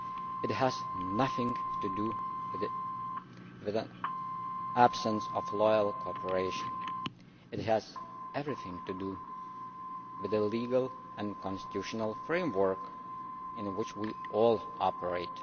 It has nothing to do with an absence of loyal cooperation. It has everything to do with the legal and constitutional framework within which we all operate.